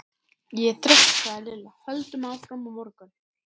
Ég er þreytt sagði Lilla, höldum áfram á morgun